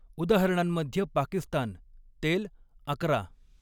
उदाहरणांमध्ये पाकिस्तान, तेल, अकरा.